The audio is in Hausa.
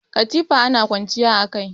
Katifa ana kwanciya a kai.